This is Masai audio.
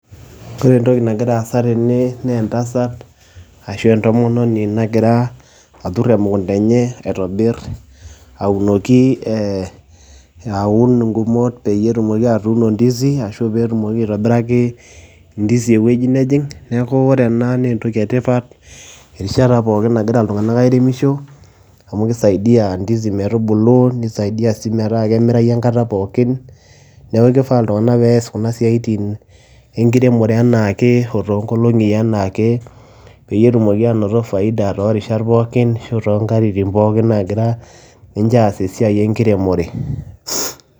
Kore entoki nagira aasa tene nee entasat ashu entomononi nagira atur emukunda enye aitobir aunoki ee aun ng'umot peyie etumoki atuuno ndizi ashu peetumoki aitobiraki ndizi ewuji nejing'. Neeku ore ena nee entoki e tipat erishata pookin nagira iltung'anak airemisho amu kisaidia ndizi metubulu, nisaidia sii metaa kemirayu enkata pookin. Neeku kifaa iltung'anak pees kuna siaitin enkiremore enaake oo too nkolong'i enaake peyie etumoki aanoto faida too rishat pookin ashu too nkatitin pookin naagira ninje aas esiai enkiremore.